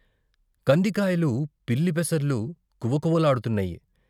కందికాయలు, పిల్లి పెసర్లు కువకువ లాడ్తున్నాయి.